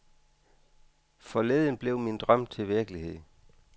Forleden blev min drøm til virkelighed.